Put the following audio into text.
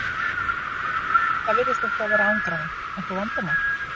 Bæði Það virðist eitthvað vera að angra þig, einhver vandamál?